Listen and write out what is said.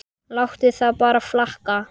Láttu það bara flakka!